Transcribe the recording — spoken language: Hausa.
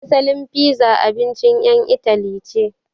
Asalin fiza abincin ƴan Itali ce.